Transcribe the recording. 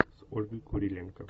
с ольгой куриленко